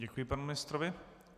Děkuji panu ministrovi.